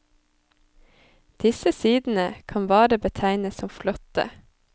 Disse sidene kan bare betegnes som flotte.